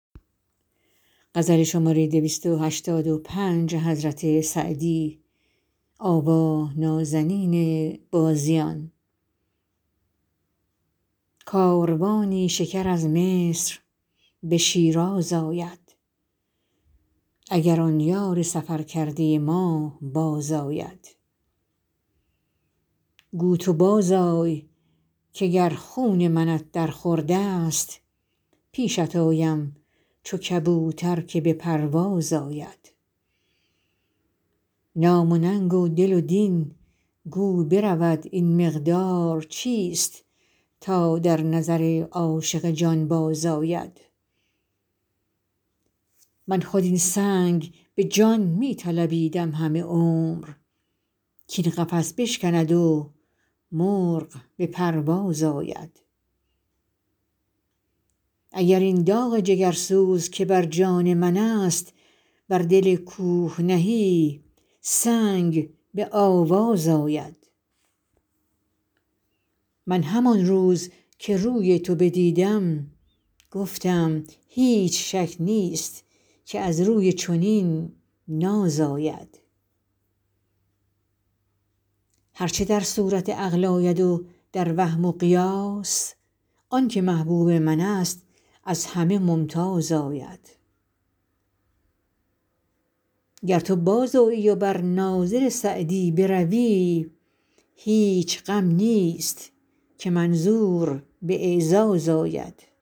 کاروانی شکر از مصر به شیراز آید اگر آن یار سفر کرده ما بازآید گو تو بازآی که گر خون منت در خورد است پیشت آیم چو کبوتر که به پرواز آید نام و ننگ و دل و دین گو برود این مقدار چیست تا در نظر عاشق جانباز آید من خود این سنگ به جان می طلبیدم همه عمر کاین قفس بشکند و مرغ به پرواز آید اگر این داغ جگرسوز که بر جان من است بر دل کوه نهی سنگ به آواز آید من همان روز که روی تو بدیدم گفتم هیچ شک نیست که از روی چنین ناز آید هر چه در صورت عقل آید و در وهم و قیاس آن که محبوب من است از همه ممتاز آید گر تو بازآیی و بر ناظر سعدی بروی هیچ غم نیست که منظور به اعزاز آید